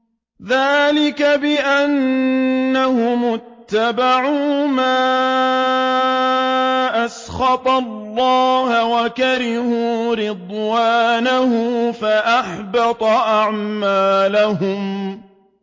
ذَٰلِكَ بِأَنَّهُمُ اتَّبَعُوا مَا أَسْخَطَ اللَّهَ وَكَرِهُوا رِضْوَانَهُ فَأَحْبَطَ أَعْمَالَهُمْ